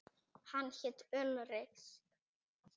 Hann hét Ulrich.